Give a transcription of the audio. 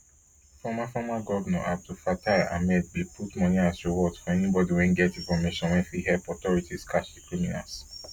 former former govnor abdulfatah ahmed bin put money as reward for anybodi wey get information wey fit help authorities catch di criminals